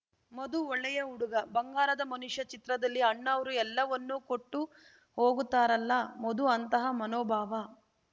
ಮಧು ಒಳ್ಳೆಯ ಹುಡುಗ ಬಂಗಾರದ ಮನುಷ್ಯ ಚಿತ್ರದಲ್ಲಿ ಅಣ್ಣಾವ್ರು ಎಲ್ಲವನ್ನೂ ಕೊಟ್ಟು ಹೋಗುತ್ತಾರಲ್ಲ ಮಧು ಅಂತಹ ಮನೋಭಾವ